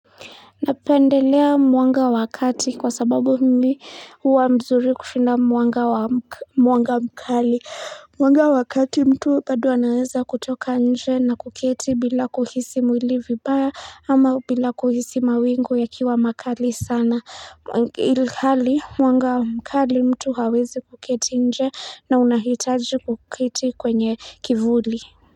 Napendelea mwanga wa kati kwa sababu mimi huwa mzuri kushinda mwanga mkali mwanga wa kati mtu bado anaweza kutoka nje na kuketi bila kuhisi mwili vibaya ama bila kuhisi mawingu ya kiwa makali sana ilhali mwanga wa mkali mtu hawezi kuketi nje na unahitaji kuketi kwenye kivuli.